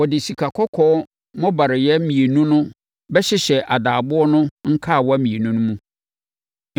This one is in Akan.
wɔde sikakɔkɔɔ mmobareeɛ mmienu no bɛhyehyɛ adaaboɔ no nkawa mmienu no mu.